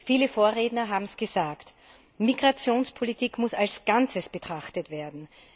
Viele Vorredner haben es gesagt Migrationspolitik muss als Ganzes betrachtet werden.